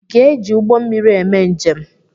Ị ga-eji ụgbọ mmiri eme njem?